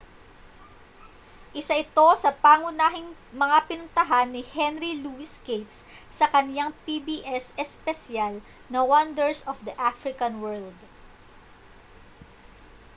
isa ito sa pangunahing mga pinuntahan ni henry louis gates sa kaniyang pbs espesyal na wonders of the african world